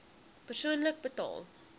persoonlik betaal